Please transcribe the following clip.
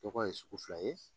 Tɔgɔ ye sugu fila ye